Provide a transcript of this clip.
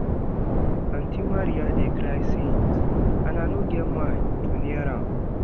Aunty Maria dey cry since and I no get mind to near am